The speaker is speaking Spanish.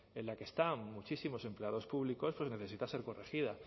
en la que está muchísimos empleados públicos necesita ser corregida